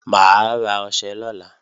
Mà á ra ọṣẹ lọ́la